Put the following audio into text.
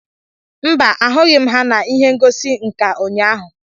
Mba, ahụghị m ha na ihe ngosi nka ụnyaahụ